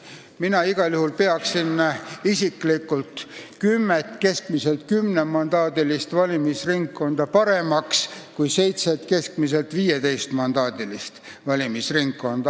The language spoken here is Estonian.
Mina igal juhul pean kümmet keskmiselt kümnemandaadilist ringkonda paremaks kui seitset keskmiselt 15-mandaadilist ringkonda.